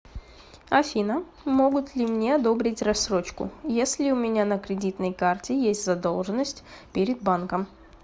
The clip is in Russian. афина могут ли мне одобрить рассрочкуесли у меня на кредитной карте есть задолженность перед банком